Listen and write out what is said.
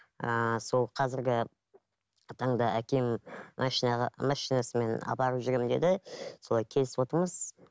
ыыы сол қазіргі таңда әкем машинаға машинасымен апарып жүремін деді солай келісіп отырмыз